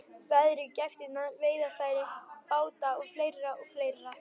Veðrið, gæftirnar, veiðarfæri, báta og fleira og fleira.